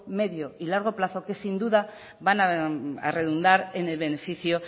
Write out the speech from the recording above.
medio y largo plazo que sin duda van a redundar en beneficio